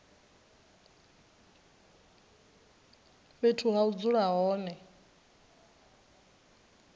fhethu ha u dzula hone